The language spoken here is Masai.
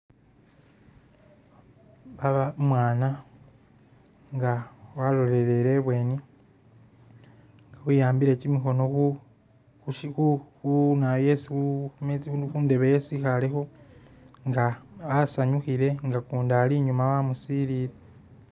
Baba umwana nga walolelele i'bweni we'ambile kyimikhono khu Khushi khunawoyu khu khu khundeebe yesi e'khalekho nga asanyukhile nga kundi alinyuma amusilile.